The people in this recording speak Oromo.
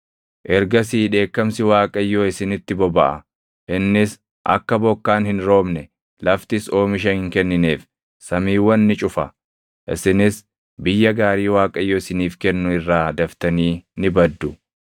Ergasii dheekkamsi Waaqayyoo isinitti bobaʼa; innis akka bokkaan hin roobne, laftis oomisha hin kennineef samiiwwan ni cufa; isinis biyya gaarii Waaqayyo isiniif kennu irraa daftanii ni baddu.